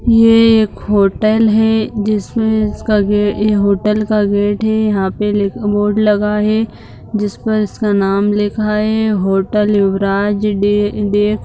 ये एक होटल है जिसमें इसका गे ये होटल का गेट है यहाँ पे लि बोर्ड लगा है जिसका नाम लिखा है होटल युवराज डे डे।